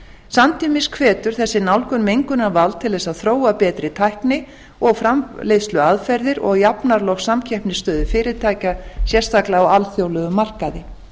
samtímis hvetur þessi nálgun mengunarvald til þess að þróa betri tækni og framleiðsluaðferðir og jafnar loks samkeppnisstöðu fyrirtækja sérstaklega á alþjóðlegum markaði í